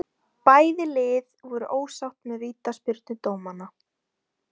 Bæði ið voru ósátt með vítaspyrnudómana.